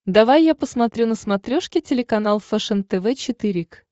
давай я посмотрю на смотрешке телеканал фэшен тв четыре к